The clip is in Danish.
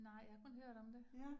Nej, jeg har kun hørt om det